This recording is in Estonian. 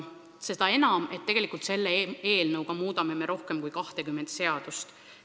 Seda enam, et eelnõu kohaselt muudetakse rohkem kui 20 seadust.